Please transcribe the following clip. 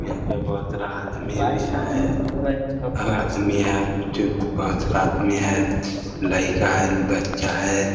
यहाँ पे बहुत सारा आदमी भी है आदमी है बहुत सारा आदमी है लइका हैबच्चा है ।